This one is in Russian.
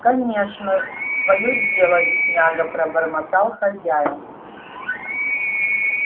кончено твоё дело бедняга пробормотал хозяин